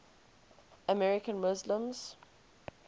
american muslims